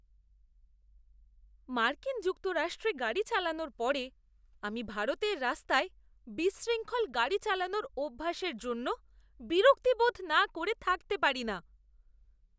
মার্কিন যুক্তরাষ্ট্রে গাড়ি চালানোর পরে, আমি ভারতের রাস্তায় বিশৃঙ্খল গাড়ি চালানোর অভ্যাসের জন্য বিরক্তি বোধ না করে থাকতে পারি না!